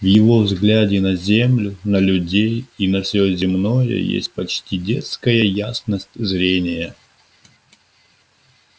в его взгляде на землю на людей и на все земное есть почти детская ясность зрения